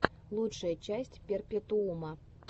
лучшая часть перпетуума